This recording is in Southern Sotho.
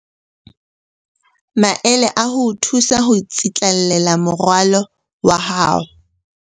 Maele a ho o thusa ho tsitlallela moralo wa hao